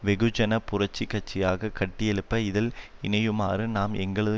வெகுஜன புரட்சி கட்சியாக கட்டியெழுப்ப இதில் இணையுமாறும் நாம் எங்களது